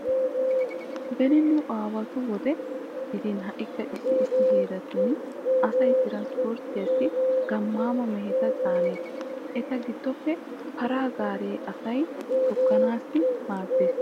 Beni nu aawatu wode gidin ha"ikka issi issi heeratun asay tranpporttiyassi gammaama meheta caanees. Eta giddoppe para gaare asay togganaassi maaddees.